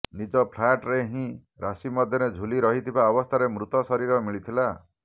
ନିଜ ଫ୍ଲାଟ ରେ ହିଁ ରାଶି ମଧ୍ୟରେ ଝୁଲି ରହିଥିବା ଅବସ୍ଥାରେ ମୃତ ଶରୀର ମିଳିଥିଲା